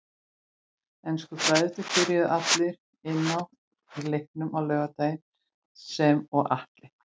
Ensku bræðurnir byrjuðu allir inn á í leiknum á laugardag sem og Atli.